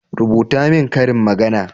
rubuta min ƙarin magana!